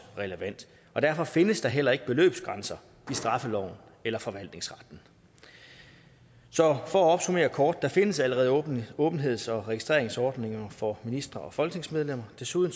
relevant derfor findes der heller ikke beløbsgrænser i straffeloven eller forvaltningsretten så for at opsummere kort der findes allerede åbenheds åbenheds og registreringsordninger for ministre og folketingsmedlemmer desuden